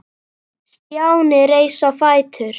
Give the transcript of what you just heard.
Stjáni reis á fætur.